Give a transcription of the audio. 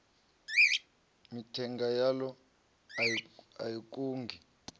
mithenga yaḽo a i kungi